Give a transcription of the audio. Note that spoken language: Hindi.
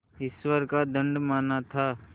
ईश्वर का दंड माना था